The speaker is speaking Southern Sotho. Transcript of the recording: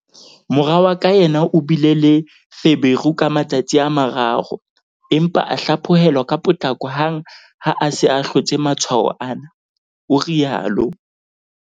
"Mora wa ka yena o bile le feberu ka matsatsi a mararo, empa a hlaphohelwa ka potlako hang ha a se a hlotse matshwao ana," o rialo.